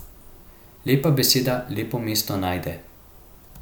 Lepa beseda lepo mesto najde.